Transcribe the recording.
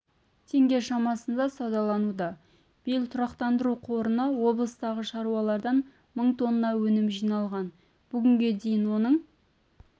теңге шамасында саудалануда биыл тұрақтандыру қорына облыстағы шаруалардан мың тонна өнім жиналған бүгінге дейін оның